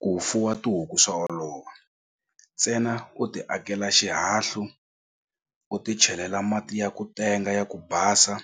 Ku fuwa tihuku swa olova ntsena u ti akela xihahlu u ti chelela mati ya ku tenga ya ku basa